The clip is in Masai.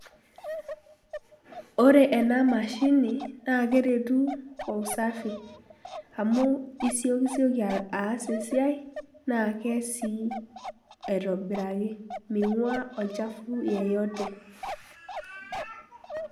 Oree ena mashini naa eretu oo usafi, amuu isiokizioki aas esiai naa keyas sii aitobiraki ming'aa olchafuu yeyote.